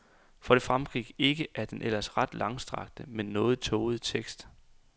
For det fremgik ikke af den ellers ret langstrakte, men noget tågede tekst.